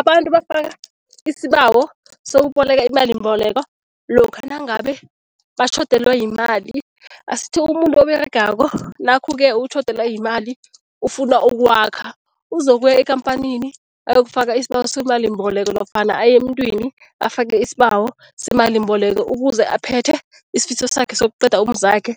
Abantu bafaka isibawo sokuboleka imalimboleko lokha nangabe batjhodelwa yimali. Asithi umuntu oberegako nakhu-ke utjhodelwa yimali ufuna ukwakha, uzokuya ekampanini ayokufaka isibawo semalimboleko nofana aye emntwini afake isibawo semalimboleko ukuze aphethe isifiso sakhe sokuqeda umuzakhe